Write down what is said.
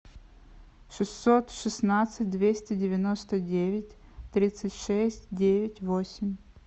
шестьсот шестнадцать двести девяносто девять тридцать шесть девять восемь